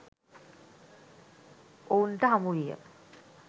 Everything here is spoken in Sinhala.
ඔවුන්ට හමුවිය